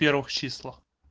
первых числах